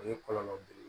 O ye kɔlɔlɔ belebele ye